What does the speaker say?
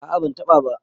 a a ban taba ba